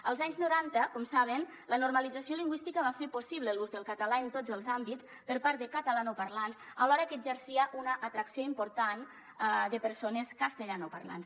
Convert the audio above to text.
als anys noranta com saben la normalització lingüística va fer possible l’ús del català en tots els àmbits per part de catalanoparlants alhora que exercia una atracció important de persones castellanoparlants